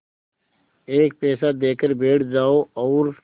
एक पैसा देकर बैठ जाओ और